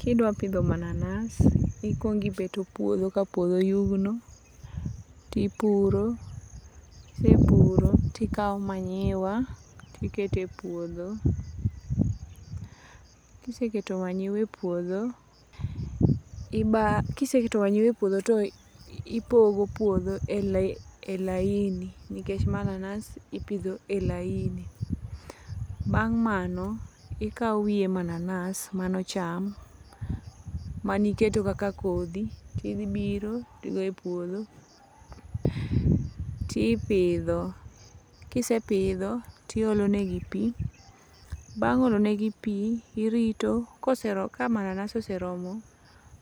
Kidwa pidho mananas, ikwongibeto puodho ka puodho oyugno, tipuro, kise puro tikawo manyiwa tikete puodho. Kiseketo manyiwa e puodho tipogo puodho e laini, nikech mananas ipidho e laini. Bang' mano, ikawo wiye mananas manocham maniketo kaka kodhi tidhibiro tigo e puodho tipidho, tiolonegi pi. Bang' olonegi pi, irito, ka mananas oseromo